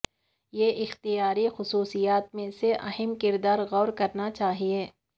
یہ اختیاری خصوصیات میں سے اہم کردار غور کرنا چاہیے